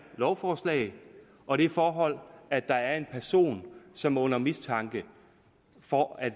lovforslag og det forhold at der er en person som er under mistanke for at